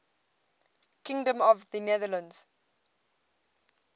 kingdom of the netherlands